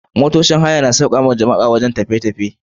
Motocin haya na sauƙaƙawa jama'a wurin tafiye-tafiye.